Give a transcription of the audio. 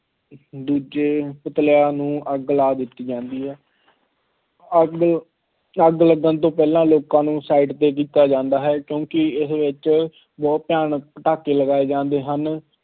ਦੂਜੇ ਪੁਤਲਿਆਂ ਨੂੰ ਅੱਗ ਲਾ ਦਿੱਤੀ ਜਾਦੀ ਹੈ, ਅੱਗ, ਅੱਗ ਲੱਗਣ ਤੋਂ ਪਹਿਲਾਂ ਲੋਕਾਂ ਨੂੰ side 'ਤੇ ਕੀਤਾ ਜਾਂਦਾ ਹੈ ਕਿਉਂਕਿ ਉਸ ਵਿੱਚ ਬਹੁਤ ਭਿਆਨਕ ਪਟਾਕੇ ਲਗਾਏ ਜਾਂਦੇ ਹਨ।